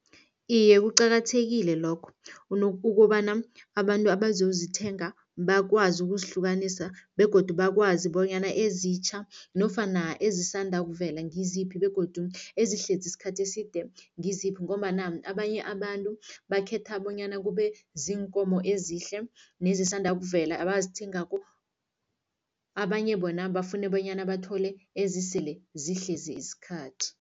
Iye, kuqakathekile lokho ukobana abantu abazozithenga bakwazi ukuzihlukanisa begodu bakwazi bonyana ezitjha nofana ezisanda ukuvela ngiziphi begodu ezihlezi isikhathi eside ngiziphi ngombana abanye abantu bakhetha bonyana kube ziinkomo ezihle nezisanda ukuvela abazithengako, abanye bona bafune bonyana bathole ezisele zihlezi isikhathi.